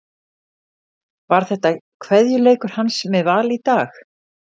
Var þetta kveðjuleikur hans með Val í dag?